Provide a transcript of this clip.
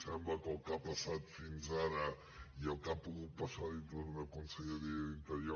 sembla que el que ha passat fins ara i el que ha pogut passar dintre d’una conselleria d’interior